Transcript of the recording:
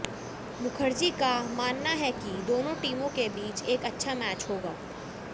मुखर्जी का मानना है कि दोनों टीमों के बीच एक अच्छा मैच होगा